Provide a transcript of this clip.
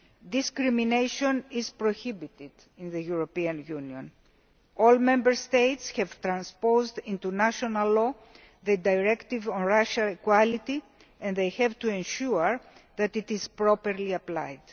Discrimination is prohibited in the European Union. All Member States have transposed into national law the Racial Equality Directive and they have to ensure that this is properly applied.